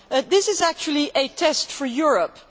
This is actually a test for Europe.